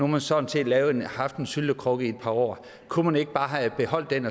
man sådan set haft en syltekrukke i et par år kunne man ikke bare have beholdt den